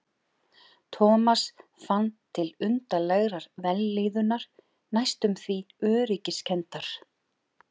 Thomas fann til undarlegrar vellíðunar, næstum því öryggiskenndar.